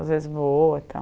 Às vezes vou e tal.